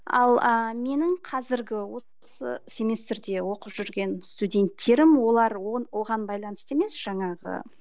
ал ы менің қазіргі осы семестрде оқып жүрген студенттерім олар оған байланысты емес жаңағы